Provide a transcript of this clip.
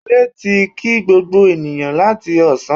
Wọlé ti kí gbogbo ènìyàn láti Ọ̀sán